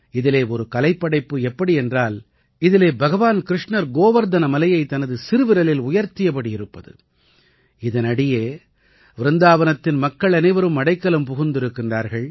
இதிலே ஒரு கலைப்படைப்பு எப்படி என்றால் இதிலே பகவான் கிருஷ்ணர் கோவர்த்தன மலையைத் தனது சிறுவிரலில் உயர்த்தியபடி இருப்பது இதனடியே விருந்தாவனத்தின் மக்கள் அனைவரும் அடைக்கலம் புகுந்திருக்கின்றார்கள்